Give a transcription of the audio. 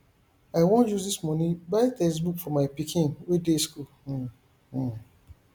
i wan use dis money buy textbooks for my pikin wey dey school um um